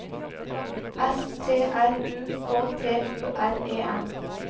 S T R U K T U R E N